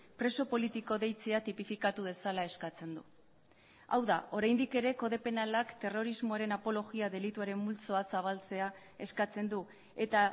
preso politiko deitzea tipifikatu dezala eskatzen du hau da oraindik ere kode penalak terrorismoaren apologia delituaren multzoa zabaltzea eskatzen du eta